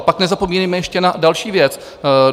A pak nezapomínejme ještě na další věc.